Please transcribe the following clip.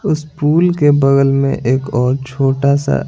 उस पूल के बगल में एक और छोटा सा--